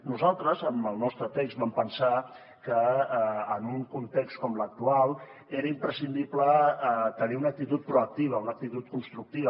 nosaltres amb el nostre text vam pensar que en un context com l’actual era imprescindible tenir una actitud proactiva una actitud constructiva